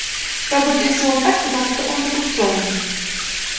робот действовал так потому что он так устроен